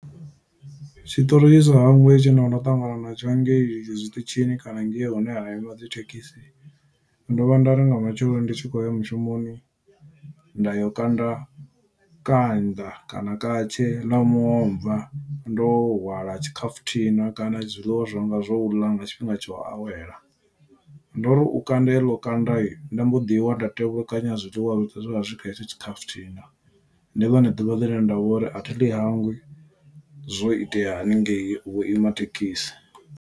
Tshiṱori tshi sa hangwei tshe nda vha nda ṱangana na tsho hangei zwiṱitshini, kana ngei hune ha ima dzithekhisi. Ndo vha nda ri nga matsheloni ndi tshi khou ya mushumoni, nda yo kanda kanda kana ṱatshe ḽa muomva, ndo hwala tshikafuthina kana zwiḽiwa zwanga zwo u ḽa nga tshifhinga tsha u awela. Ndo ri u kanda heḽo kanda, nda mbo ḓi wa, nda tevhukanya zwiḽiwa zwoṱhe zwe zwa vha zwi kha hetsho tshikhafuthina. Ndi ḽone ḓuvha ḽine nda vho uri athi ḽi hangwi, zwo itea haningei vho ima thekhisi.